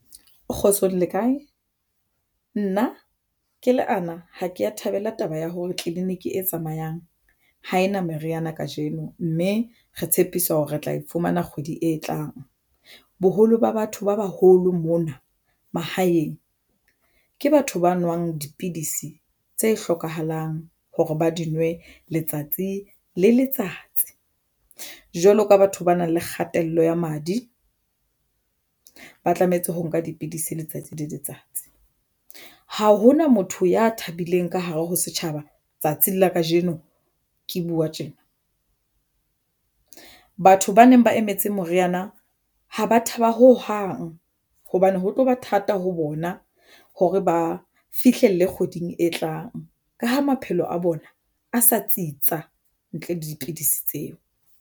Kgotsong le kae nna ke le ana ha kea thabela taba ya hore clinic e tsamayang ha ena meriana kajeno, mme ra tshepiswa hore re tla e fumana kgwedi e tlang. Boholo ba batho ba baholo mona mahaeng ke batho ba nwang dipidisi tse hlokahalang hore ba di nwe letsatsi le letsatsi jwalo ka batho ba nang le kgatello ya madi ba tlametse ho nka dipidisi letsatsi le letsatsi. Ha hona motho ya thabileng ka hare ho setjhaba. Tsatsing la kajeno ke buwa tjena batho ba neng ba emetse moriana ha ba thaba ho hang hobane ho tloba thata ho bona hore ba fihlelle kgweding e tlang ka ha maphelo a bona a sa tsitsa ntle le dipidisi tseo.